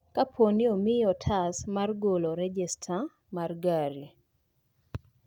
Kapooni omiyi otas mar golo rejesta mar gari